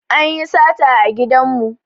Anyi sata a gidan mu